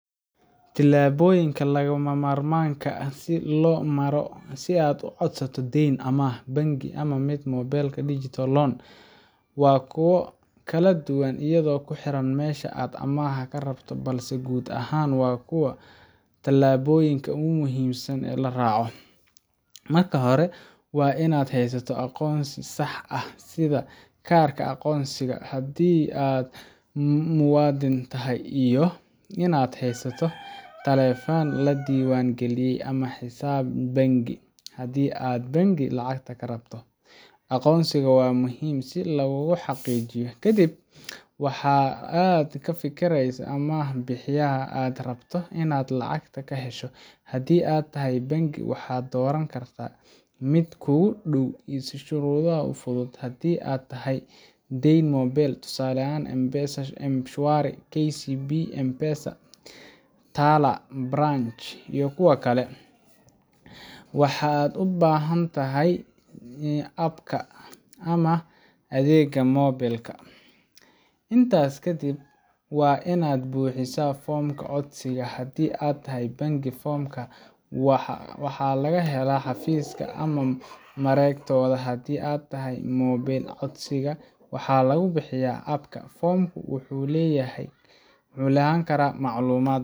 Tillaabooyinka lagama maarmaanka ah ee loo maro si aad u codsato deyn amaah bangi ama mid mobilka digital loan waa kuwo kala duwan iyadoo ku xiran meesha aad amaahda ka rabto, balse guud ahaan waa kuwan tallaabooyinka muhiimka ah ee la raaco: Marka hore, waa in aad haysato aqoonsi sax ah sida kaarka aqoonsiga haddii aad muwaadin tahay, iyo in aad haysato taleefan la diiwaan geliyay ama xisaab bangi haddii aad bangi lacagta ka rabto. Aqoonsigaaga waa muhiim si laguugu xaqiijiyo. Kadib, waa in aad ka fiirsato amaah bixiyaha aad rabto inaad lacagta ka hesho. Haddii ay tahay bangi, waxaad dooran kartaa mid kuugu dhow ama leh shuruudo fudud. Haddii ay tahay deyn mobile tusaale: M-Shwari, KCB M-Pesa, Tala, Branch iyo kuwo kale, waxaad u baahan tahay app-ka ama adeega moobilka. Intaas kadib, waa in aad buuxisaa foomka codsiga. Haddii ay tahay bangi, foomka waxaa laga helaa xafiiska ama mareegtooda. Haddii ay tahay moobil, codsiga waxaa lagu buuxiyaa app-ka. Foomku wuxuu weydiin karaa macluumaad